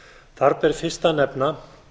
þar ber fyrst að nefna